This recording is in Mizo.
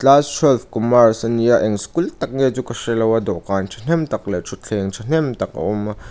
class twelve commerce ania eng school tak nge chu ka hrelo a dawhkan thahnem tak leh thutthleng thahnem tak a awm a.